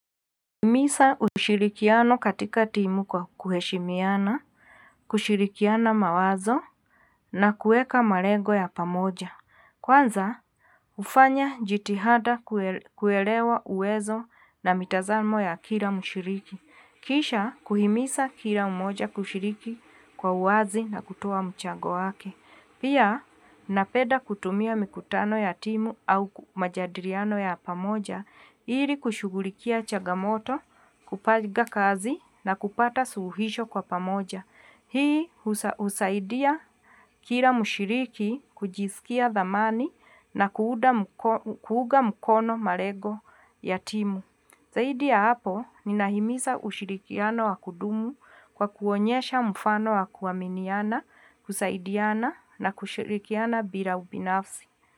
Kuhimiza ushirikiano katika timu kwa kuheshimiana, kushirikiana mawazo na kuweka malego ya pamoja. Kwanza, hufanya jitihada kuelewa uwezo na mitazamo ya kila mshiriki. Kisha, kuhimiza kila mmoja kushiriki kwa uwazi na kutoa mchago wake. Pia, napeda kutumia mikutano ya timu au majadiliano ya pamoja, ili kushughulikia chagamoto, kupanga kazi na kupata suluhisho kwa pamoja. Hii husaidia kila mshiriki kujisikia dhamani na kuunga mkono malengo ya timu. Zaidi ya hapo, ninahimiza ushirikiano wa kudumu kwa kuonyesha mfano wa kuaminiana, kusaidiana na kushirikiana bila ubinafsi.